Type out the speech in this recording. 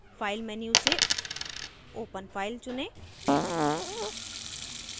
file menu से open file चुनें